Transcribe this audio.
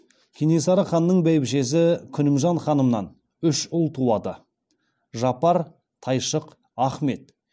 кенесары ханның бәйбішесі күнімжан ханымнан үш ұл туады жапар тайшық ахмет